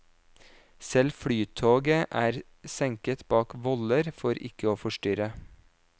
Selv flytoget er senket bak voller for ikke å forstyrre.